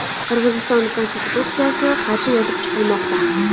Qirg‘iziston konstitutsiyasi qayta yozib chiqilmoqda.